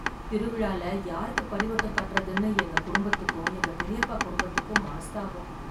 திருவிழால யாருக்கு பரிவட்டம் கட்றதுன்னு எங்க குடும்பத்துக்கும் எங்க பெரியப்பா குடும்பத்துக்கும் மனஸ்தாபம்.